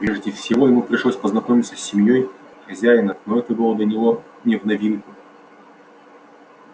прежде всего ему пришлось познакомиться с семьёй хозяина но это было для него не в новинку